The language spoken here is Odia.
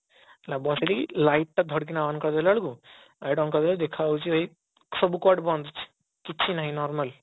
ବସେଇ ଦେଇକି light ଟା ଧଡକିନା on କରିଦେଲା ବେଳକୁ ଦେଖା ଯାଉଛି ସବୁ କବାଟ ବନ୍ଦ ଅଛି କିଛି ନାହିଁ normal